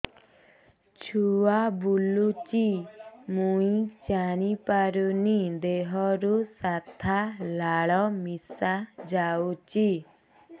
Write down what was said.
ଛୁଆ ବୁଲୁଚି ମୁଇ ଜାଣିପାରୁନି ଦେହରୁ ସାଧା ଲାଳ ମିଶା ଯାଉଚି